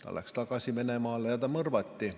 Ta läks tagasi Venemaale ja mõrvati.